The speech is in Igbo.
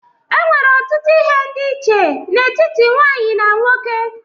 E nwere ọtụtụ ihe ndị́ iche n'etiti nwaanyị na nwoke.